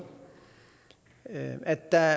at der